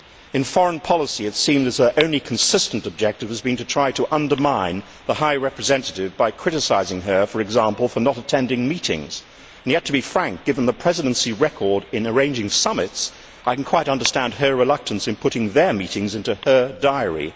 In foreign policy, it seems their only consistent objective has been to try to undermine the High Representative by criticising her, for example, for not attending meetings and yet, to be frank, given the Presidency record in arranging summits, I can quite understand her reluctance in putting their meetings into her diary.